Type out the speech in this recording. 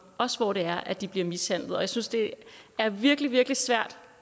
også hvor det er at de bliver mishandlet og jeg synes det er virkelig virkelig svært